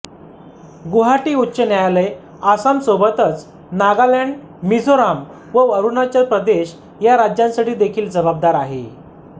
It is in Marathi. गुवाहाटी उच्च न्यायालय आसामसोबतच नागालॅंड मिझोराम व अरुणाचल प्रदेश ह्या राज्यांसाठी देखील जबाबदार आहे